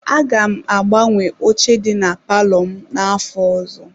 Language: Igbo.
Aga m agbanwe oche dị na palọ m n'afọ ọzọ.